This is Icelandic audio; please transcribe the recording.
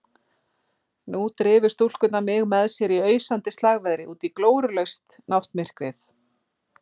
Nú drifu stúlkurnar mig með sér í ausandi slagveðri útí glórulaust náttmyrkrið.